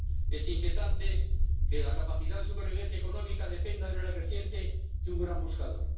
Es inquietante que la capacidad de supervivencia económica dependa de manera creciente de un gran buscador.